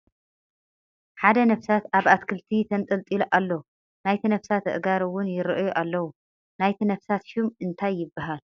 ሓደ ነፍሳት ኣብ ኣትክልቲ ተንጠልጢሉ እሎ ። ናይቲ ነፍስት አእጋር እውን ይርአዩ ኣለዉ ። ንይቲ ነፍሳት ሹም እንታይ ይብሓል ?